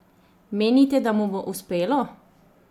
Menite, da mu bo uspelo?